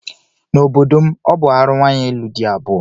N'obodo m, ọ bụ arụ nwaanyị ịlụ di abụọ.